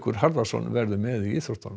Harðarson verður með í íþróttum